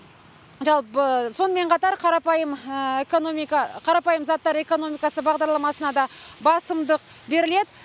жалпы сонымен қатар қарапайым қарапайым заттар экономикасы бағдарламасына да басымдық беріледі